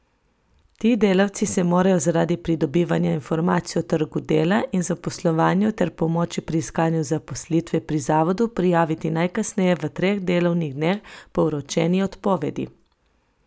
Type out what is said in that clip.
Ti delavci se morajo zaradi pridobivanja informacij o trgu dela in zaposlovanju ter pomoči pri iskanju zaposlitve pri zavodu prijaviti najkasneje v treh delovnih dneh po vročeni odpovedi.